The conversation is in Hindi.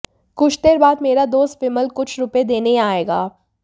कुछ देर बाद मेरा दोस्त विमल कुछ रुपए देने यहां आएगा